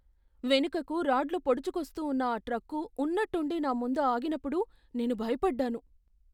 వెనుకకు రాడ్లు పోడుచుకొస్తూ ఉన్న ఆ ట్రక్కు ఉన్నట్టుండి నా ముందు ఆగినప్పుడు నేను భయపడ్డాను.